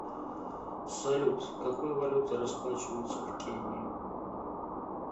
салют какой валютой расплачиваются в кении